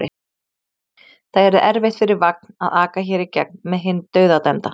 Það yrði erfitt fyrir vagn að aka hér í gegn með hinn dauðadæmda.